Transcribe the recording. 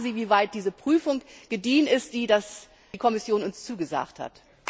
Und ich frage Sie, wie weit diese Prüfung gediehen ist, die die Kommission uns zugesagt hat.